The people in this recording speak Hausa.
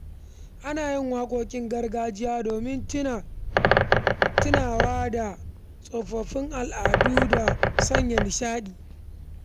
Ana yin waƙoƙin gargajiya domin tunawa da tsofaffin al’adu da sanya nishaɗi